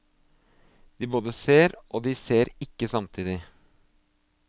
De både ser og de ser ikke samtidig.